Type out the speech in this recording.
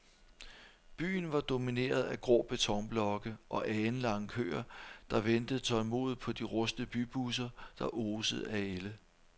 Byen var domineret af grå betonblokke og alenlange køer, der ventede tålmodigt på de rustne bybusser, der osede af ælde.